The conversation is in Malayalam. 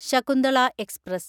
ശകുന്തള എക്സ്പ്രസ്